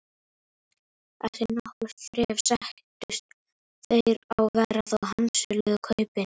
Eftir nokkurt þref sættust þeir á verð og handsöluðu kaupin.